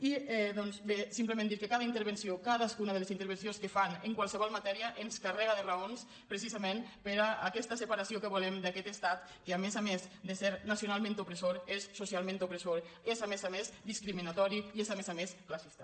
i bé simplement dir que cada intervenció cadascuna de les intervencions que fan en qualsevol matèria ens carrega de raons precisament per a aquesta separació que volem d’aquest estat que a més a més de ser nacionalment opressor és socialment opressor és a més a més discriminatori i és a més a més classista